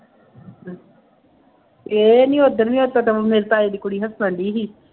ਇਹ ਨਹੀਂ ਉਹ ਦਿਨ ਵੀ ਮੇਰੇ ਤਾਏ ਦੀ ਕੁੜੀ ਨਾਲ ਸੀ